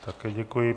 Také děkuji.